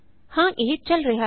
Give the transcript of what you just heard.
ਹਾਂ ਇਹ ਚਲ ਰਿਹਾ ਹੈ